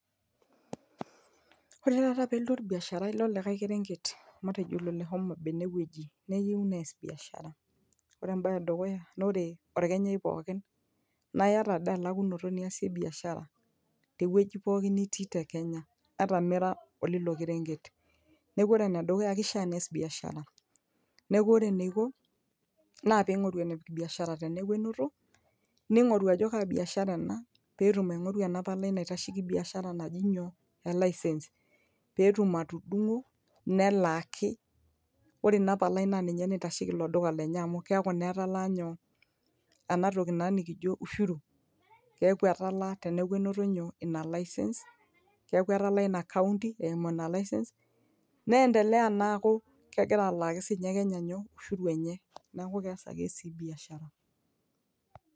ore taata pelotu orbiasharai lolikae kerenget matejo ilo le homa bay enewueji neyieu nees biashara ore embaye edukuya naa ore orkenyai pookin naa iyata dii elakunoto niasie biashara tewueji pokin nitii te kenya ata mira olilo kerenget neku ore enedukuya kishia nees biashara neku ore eneiko naa ping'oru enepik biashara teneeku enoto ning'oru ajo kaa biashara ena petum aing'oru ena palai naitasheki biashara naji nyoo elaisens petum atudung'o nelaaki ore ina palai naa ninye naitasheki ilo duka lenye amu keeku naa etalaa nyoo ena toki naa nikijio ushuru keeku etalaa teneeku enoto nyoo ina license keeku etalaa ina county eimu ina license niendelea naa aaku kegira alaaki sinye kenya nyoo ushuru enye neeku kees ake sii biashara.